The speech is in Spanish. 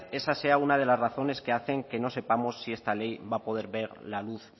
esa sea una de las razones que hacen que no sepamos si esta ley va a poder ver la luz